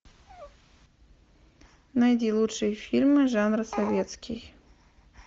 найди лучшие фильмы жанра советский